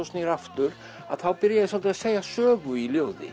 snýr aftur að þá byrja ég svolítið að segja sögu í ljóði